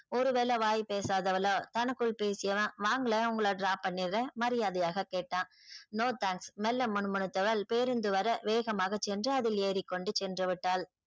ஒருவேள வாய் பேசாதவளோ தனக்குள் பேசியவன் வாங்களேன் உங்கள drop பண்ணிறன் மரியாதையாக கேட்டான். no thanks மெல்ல முனுமுனுத்தவள் பேருந்து வர வேகமாக சென்று அதில் ஏறிக்கொண்டு சென்றுவிட்டாள்.